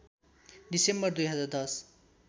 December २०१०